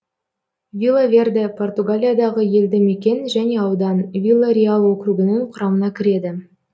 вила верде португалиядағы елді мекен және аудан вила реал округінің құрамына кіреді